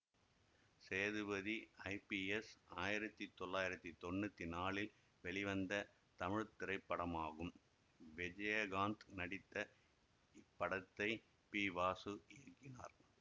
Sethupathi IPS ஆயிரத்தி தொள்ளாயிரத்தி தொன்னூத்தி நாலில் வெளிவந்த தமிழ் திரைப்படமாகும் விஜயகாந்த் நடித்த இப்படத்தை பி வாசு இயக்கினார்